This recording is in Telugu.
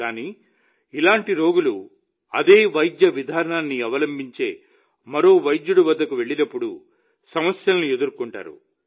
కానీ ఇలాంటి రోగులు అదే వైద్య విధానాన్ని అవలంబించే మరో వైద్యుడి వద్దకు వెళ్లినప్పుడు సమస్యలను ఎదుర్కొంటారు